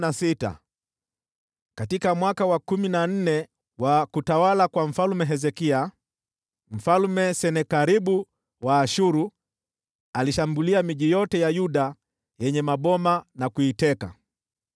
Katika mwaka wa kumi na nne wa utawala wa Mfalme Hezekia, Senakeribu mfalme wa Ashuru akaishambulia miji yote ya Yuda yenye ngome na kuiteka.